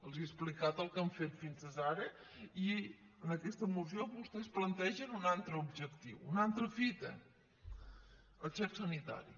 els he explicat el que han fet fins ara i en aquesta moció vostès plantegen un altre objectiu una altra fita el xec sanitari